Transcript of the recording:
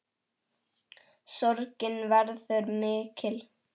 Sorgin verður mikil.